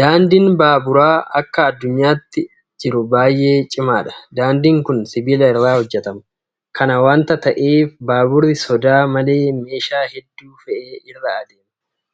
Daandiin baaburaa akka addunyaatti jiru baay'ee cimaadha. Daandiin kun sibiila irraa hojjetama. Kana waanta ta'eef baaburri sodaa malee meeshaa hedduu fe'ee irra adeema.